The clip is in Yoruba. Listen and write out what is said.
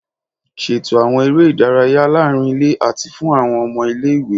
Ṣeto awọn ere idaraya laarin ile ati fun awọn ọmọ ile-iwe